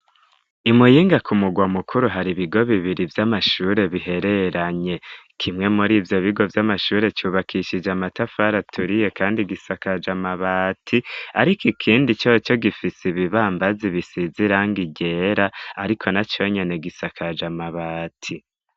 I Muyinga ku mugwa mukuru hari ibigo bibiri vy'amashure bihereranye. Kimwe muri ivyo bigo vy'amashure cubakishije amatafari aturiye kandi gisakaje amabati, ariko ikindi co co gifise ibibambazi bisize irang ryera, ariko na co nyene gisakaje amabati